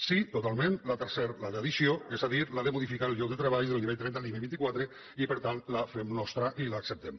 sí totalment la tercera la d’addició és a dir la de modificar el lloc de treball del nivell trenta al nivell vint quatre i per tant la fem nostra i l’acceptem